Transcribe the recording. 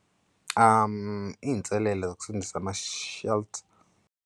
Iy'nselelo zokusebenzisa ama-shuttle.